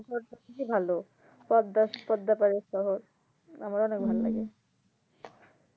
ভালো পদ্মা পদ্মা পাড়ের শহর আমারও অনেক ভাল্লাগে উম